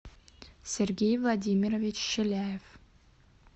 сергей владимирович челяев